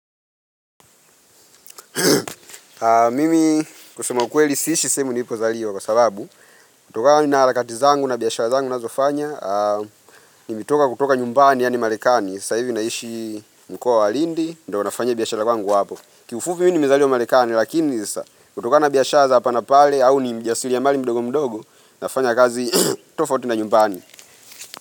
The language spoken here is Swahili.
Mimi kusema ukweli siishi sehemu niipo zaliwa kwa sababu kutokana na harakati zangu na biashara zangu nazofanya nimetoka kutoka nyumbani yaani marekani sa hivi naishi mkoa wa lindi Ndio nafanya hii biashara wangu hapo Kiufupi mimi nimezaliwa marekani Lakini sasa kutoka na biashara za hapa na pale au ni mjasiri ya mali mdogo mdogo Nafanya kazi tofauti na nyumbani.